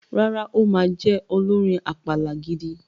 Rárá, ó ma jẹ olórin àpàlà gidi.